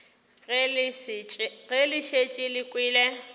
ge le šetše le kwele